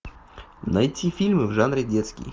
найти фильмы в жанре детский